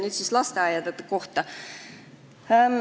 Nüüd lasteaedade kohta.